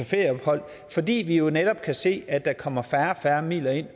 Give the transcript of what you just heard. ferieophold fordi vi netop kan se at der kommer færre og færre midler ind